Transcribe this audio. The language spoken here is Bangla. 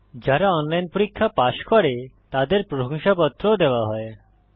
যারা অনলাইন পরীক্ষা পাস করে তাদের প্রশংসাপত্র সার্টিফিকেট ও দেওয়া হয়